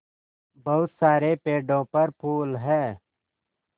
बहुत सारे पेड़ों पर फूल है